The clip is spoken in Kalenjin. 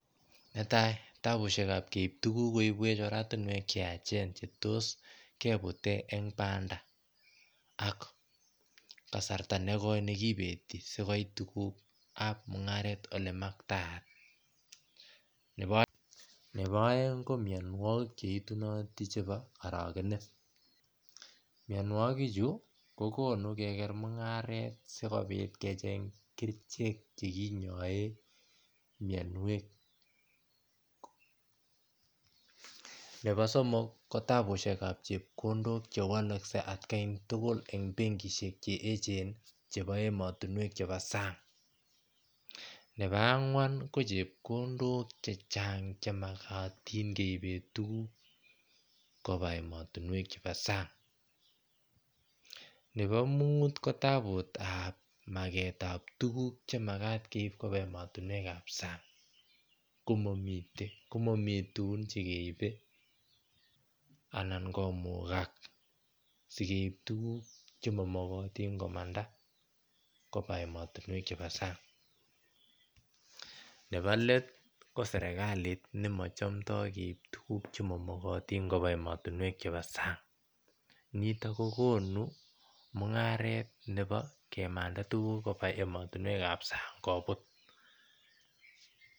Netai tabushekab keibu tuguk cheibwech oratinwek cheyachen Cheetos kebuten en Banda ak kasarta nekoi nekipeti sikopit tugukab mungaret ele maktaat nepo oeng ko mionwokik cheitu chebo orokenet mionwokik chu kokonu keker mungaret sikopit kecheng kerichek chekiyoen mionwek nepo somok kotabushekab chepkondok chewolokse atakai en bengishek cheechen chepo emotinwek chepo sang nepo angwan ko chepkondok chechang chemokotinkeipen tuguk kopa emotinwek chepo sang nepo muut kotbut tab maketab tuguk chemakat Keib kopa emotinwekab sang komomi tugun cheibe anan komukak sikeip tuguk chemomokotin komanda emotinwek chebo sang nepo let kosrekalit nemochomndo Keib tuguk chemomokotin kopa emotinwek chepo sang nitok kokonu mungaret nepo kimanda tuguk koba emontinwekab sang kobut